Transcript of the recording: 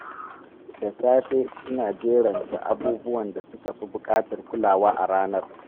Da safe, ina jeranta abubuwan da suka fi bukatar kulawa a ranar.